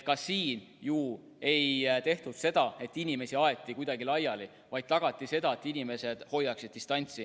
Ka siin ju ei tehtud seda, et inimesi aeti kuidagi laiali, vaid püüti tagada, et inimesed hoiaksid distantsi.